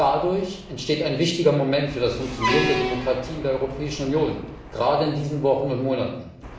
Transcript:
Dadurch entsteht ein wichtiges Moment für das Funktionieren der Demokratie in der Europäischen Union, gerade in diesen Wochen und Monaten.